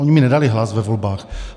Oni mi nedali hlas ve volbách.